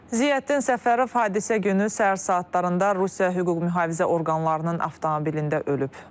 Ziyəddin Səfərov hadisə günü səhər saatlarında Rusiya hüquq mühafizə orqanlarının avtomobilində ölüb.